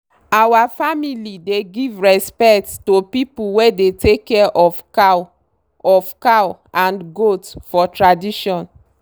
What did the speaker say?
our family dey give respect to people wey dey take care of cow of cow and goat for tradition.